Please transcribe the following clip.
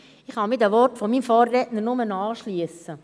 Ich kann mich den Worten meines Vorredners nur anschliessen.